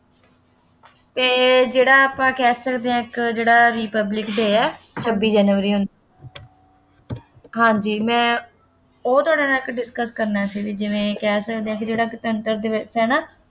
ਅਤੇ ਜਿਹੜਾ ਆਪਾਂ ਕਹਿ ਸਕਦੇ ਹਾਂ ਇੱਕ ਜਿਹੜਾ Republic Day ਹੈ ਛੱਬੀ ਜਨਵਰੀ ਉੱਨੀ ਹਾਂਜੀ ਮੈਂ ਉਹ ਤੁਹਾਡੇ ਨਾਲ ਇੱਕ discuss ਕਰਨਾ ਸੀ ਬਈ ਜਿਵੇਂ ਕਹਿ ਸਕਦੇ ਹਾਂ ਜਿਹੜਾ ਗਣਤੰਤਰ ਦਿਵਸ ਹੈ ਨਾ,